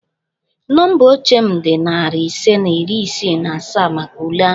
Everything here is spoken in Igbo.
Nọmba oche m dị narị ise na iri isii na asaa maka ule ahụ